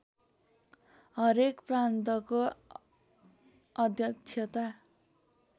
हरेक प्रान्तको अध्यक्षता